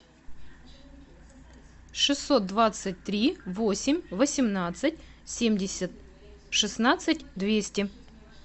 шестьсот двадцать три восемь восемнадцать семьдесят шестнадцать двести